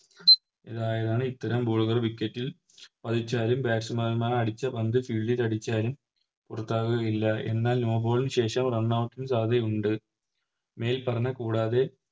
ആണ് ഇത്തരം Ball കൾ Wicket ൽ അടിച്ചാലും Batsman മാർ അടിച്ച പന്ത് Field ൽ അടിച്ചാലും പുറത്താകുകയില്ല എന്നാൽ No ball നു ശേഷം Runout ന് സാധ്യതയുണ്ട് മേൽ പറഞ്ഞത് കൂടാതെ